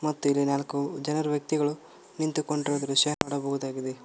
ಮತ್ತು ಇಲ್ಲಿ ನಾಲ್ಕು ಜನರು ವ್ಯಕ್ತಿಗಳು ನಿಂತು ಕೊಂಡಿರುವ ದೃಶ್ಯ ನೋಡಬಹುದಾಗಿದೆ.